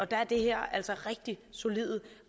der er det her altså rigtig solide